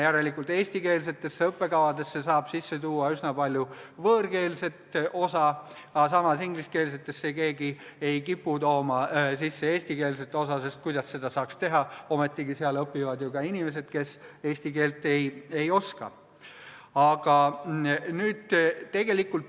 Järelikult eestikeelsetesse õppekavadesse saab sisse tuua üsna palju võõrkeelset osa, samas ingliskeelsetesse ei kipu keegi tooma sisse eestikeelset osa, sest kuidas saakski seda teha, kui seal õpivad ka inimesed, kes eesti keelt ei oska.